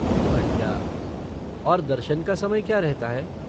बढ़िया! और दर्शन का समय क्या रहता है?